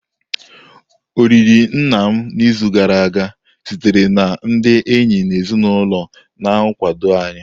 Olili nna m n'izu gara aga sitere na ndị enyi na ezinụlọ na-akwado anyị.